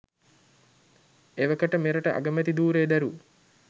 එවකට මෙරට අගමැති ධූරය දැරූ